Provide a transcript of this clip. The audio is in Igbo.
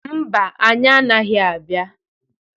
Mba, anyị anaghị abịa.